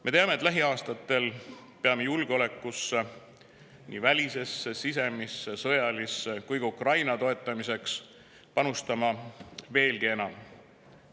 Me teame, et lähiaastatel peame nii julgeolekusse – välisesse, sisemisse ja sõjalisse – kui ka Ukraina toetamiseks panustama veelgi enam.